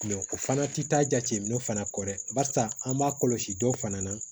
o fana tɛ taa jateminɛ fana kɔ dɛ barisa an b'a kɔlɔsi dɔw fana na